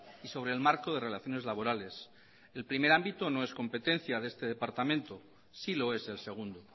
y sobre el marco de relaciones laborales el primer ámbito no es competencia de este departamento sí lo es el segundo